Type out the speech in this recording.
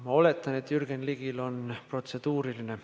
Ma oletan, et Jürgen Ligil on protseduuriline.